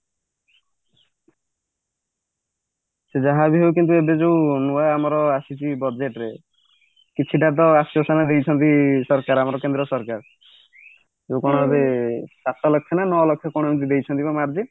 ସେ ଯାହାବି ହଉ କିନ୍ତୁ ଏବେ ଯୋଉ ନୂଆ ଆମର ଆସିଛି budget ରେ କିଛିଟା ତ ଆସ୍ଵେସନା ଦେଇଛନ୍ତି ଆମର କେନ୍ଦ୍ର ସରକାର ଯୋଉ କଣ ଏବେ ସାତ ଲକ୍ଷ୍ୟ ନା ନା ନଅ ଲକ୍ଷ୍ୟ କଣ ଏମିତି ଦେଇଛନ୍ତି କଣ ମାରିଦେ